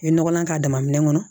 I ye nɔgɔlan k'a dama minɛn kɔnɔ